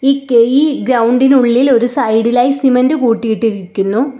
ഈ കെയി ഗ്രൗണ്ട് ഇന് ഉള്ളിൽ ഒരു സൈഡ് ഇലായി സിമൻറ് കൂട്ടിയിട്ടിരിക്കുന്നു.